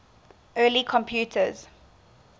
early computers